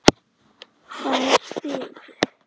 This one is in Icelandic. Þær biðu.